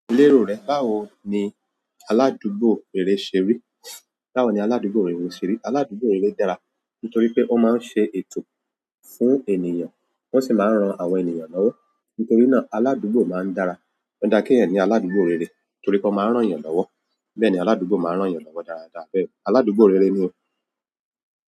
Lérò rẹ, báwo ni aládúgbò rere ṣe rí? Báwo ni aládúgbò rere ṣe rí? Aládùúgbò rere dára nítorí pé ó máa ń ṣe ètò fún ènìyàn, wọ́n sì máa ń ran àwọn ènìyàn lọ́wọ́. Nítorí náà aládùúgbò máa ń dára. Ó dáa kéèyàn ní aládùúgbò rere torí p'ọ́n máa ń ràn'yàn lọ́wọ́. Bẹ́ẹ̀ni, aládùúgbò máa ń ràn'yàn lọ́wọ́ dáadáa, bẹ́ẹ̀ni. Aládùúgbò rere ni.